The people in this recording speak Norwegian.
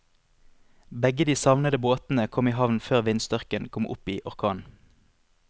Begge de savnede båtene kom i havn før vindstyrken kom opp i orkan.